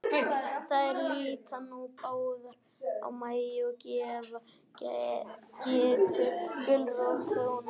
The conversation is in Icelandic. Þær líta nú báðar á Mæju, og gefa Geddu gulrót hornauga.